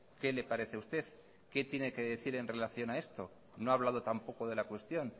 qué le parece a usted qué tiene que decir en relación a esto no ha hablado tampoco de la cuestión